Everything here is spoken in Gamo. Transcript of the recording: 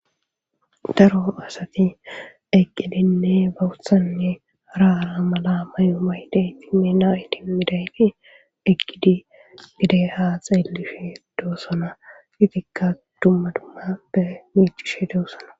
daro asati eqqidinne boththanne haara mala mayomaydeyti mena iti midayti eqqidi gide haa xeellifhe doossana itikka duma dumappe miicishe doossana.